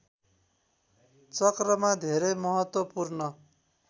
चक्रमा धेरै महत्वपूर्ण